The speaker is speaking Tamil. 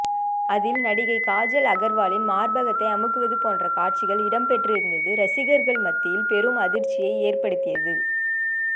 அதில் நடிகை காஜல் அகர்வாலின் மார்பகத்தை அமுக்குவது போன்ற காட்சிகள் இடம்பெற்றிருந்தது ரசிகர்கள் மத்தியில் பெரும் அதிர்ச்சியை ஏற்படுத்தியது